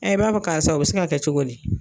i b'a fɔ karisa o bi se ka kɛ cogo di